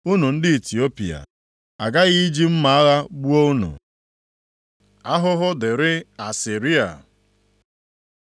“Unu ndị Itiopia, + 2:12 Maọbụ, Kush a ghaghị iji mma agha gbuo unu.” Ahụhụ dịrị Asịrịa